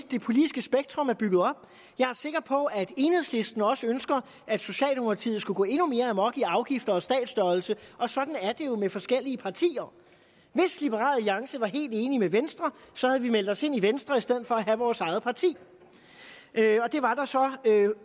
det politiske spektrum er bygget op jeg er sikker på at enhedslisten også ønsker at socialdemokratiet skulle gå endnu mere amok i afgifter og statsstørrelse og sådan er det jo med forskellige partier hvis liberal alliance var helt enig med venstre havde vi meldt os ind i venstre i stedet for at have vores eget parti det var der så